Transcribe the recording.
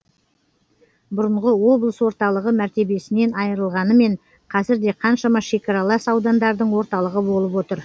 бұрынғы облыс орталығы мәртебесінен айырылғанымен қазір де қаншама шекаралас аудандардың орталығы болып отыр